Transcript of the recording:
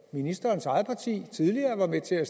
ministerens eget parti tidligere var med til at